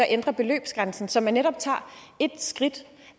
ændre beløbsgrænsen så man netop tager et skridt